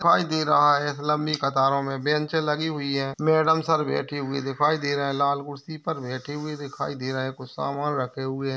दिखाई दे रहा है इस लंबी कतारों मे बेंचें लगी हुई है मॅडम सर बैठे हुए दिखाई दे रहे है लाल कुर्सी पर बैठे हुए दिखाई दे रहे है कुछ सामान रखे हुए है।